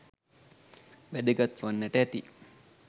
වැදගත් වන්නට ඇති